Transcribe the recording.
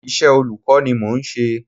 Iṣẹ́ olùkọ́ ni mò ń ṣe.